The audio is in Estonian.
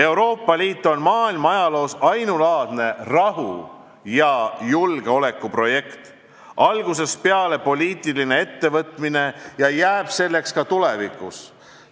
Euroopa Liit on maailma ajaloos ainulaadne rahu- ja julgeolekuprojekt, algusest peale poliitiline ettevõtmine ja jääb selleks ka tulevikus.